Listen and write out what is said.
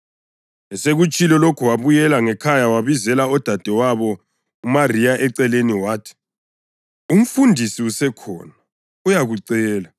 Esekutshilo lokho wabuyela ngekhaya wabizela udadewabo uMariya eceleni wathi, “UMfundisi usekhona, uyakucela.”